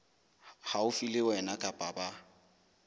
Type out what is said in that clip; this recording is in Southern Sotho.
haufi le wena kapa ba